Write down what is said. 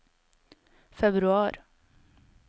februar